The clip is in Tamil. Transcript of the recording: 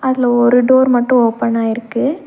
அதுல ஒரு டோர் மட்டு ஓபனாயிருக்கு .